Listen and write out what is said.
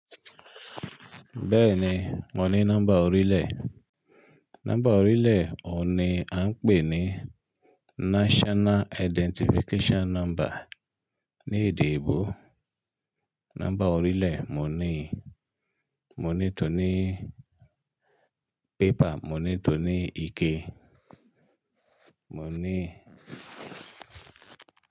Bẹ́ẹ̀ni, mo ní nọ́mbà orílẹ̀. Nọ́mbà orílẹ̀ òní a ń pè ní National Identification Number. Ní èdè ìbò, nọ́mbà orílẹ̀ mo ní, mo ní tòní pépà, mo ní tòní ike, mo ní.